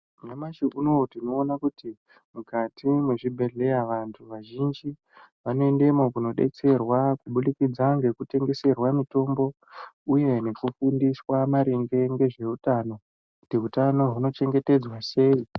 Nyamashi unowu tinoona kuti mukati mwezvibhedheya, vantu vazhinji vanoendemwo kundodetserwa kubudikidza ngekutengeserwa mitombo ,uye ngekufundiswa maringe ngezveutano , kuti utano hunochengetedzwa sei.